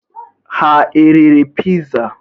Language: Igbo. Ha eriri piza?